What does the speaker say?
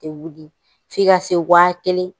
tɛ wuli f'i ka se wa kelen